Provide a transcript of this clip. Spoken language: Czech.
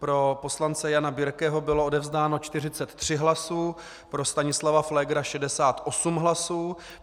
Pro poslance Jana Birkeho bylo odevzdáno 43 hlasů, pro Stanislava Pflégra 68 hlasů.